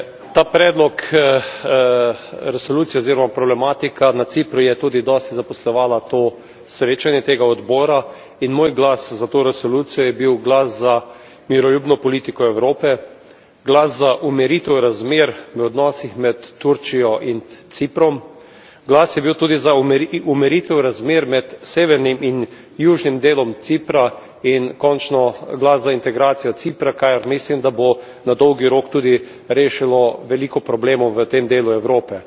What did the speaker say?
Ta predlog resolucije oziroma problematika na Cipru je tudi dosti zaposlovala to srečanje tega odbora in moj glas za to resolucijo je bil glas za miroljubno politiko Evrope, glas za umiritev razmer v odnosih med Turčijo in Ciprom, glas je bil tudi za umiritev razmer med sevenim in južnim delom Cipra in končno glas za integracijo Cipra, kar mislim, da bo na dolgi rok tudi rešilo veliko problemov v tem delu Evrope.